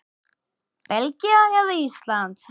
Belgía eða Ísland?